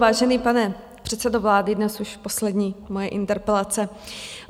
Vážený pane předsedo vlády, dnes už poslední moje interpelace.